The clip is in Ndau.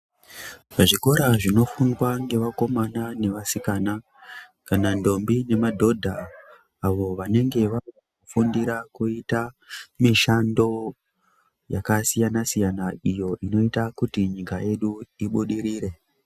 Muzvikora zvinofundwa ngevakomana nevasikana kana ndombi nemadhodha avo vanenge vari kufundira kuita mishando yakasiyana-siyana iyo inoita kuti nyika yedu ibudirire.